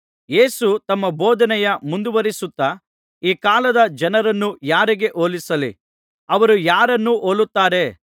ಯೇಸು ತಮ್ಮ ಬೋಧನೆಯ ಮುಂದುವರಿಸುತ್ತಾ ಈ ಕಾಲದ ಜನರನ್ನು ಯಾರಿಗೆ ಹೋಲಿಸಲಿ ಅವರು ಯಾರನ್ನು ಹೋಲುತ್ತಾರೆ